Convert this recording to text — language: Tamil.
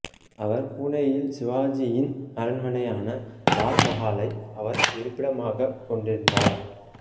அவர் பூனேயில் சிவாஜியின் அரண்மனையான லால் மஹாலை அவர் இருப்பிடமாக கொண்டிருந்தார்